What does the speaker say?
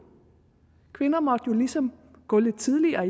kvinder måtte jo ligesom gå lidt tidligere